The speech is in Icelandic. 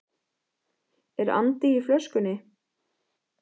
Er andi í flöskunni?